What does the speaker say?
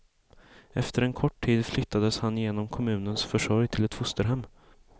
Efter en kort tid flyttades han genom kommunens försorg till ett fosterhem.